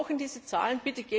Wir brauchen diese Zahlen!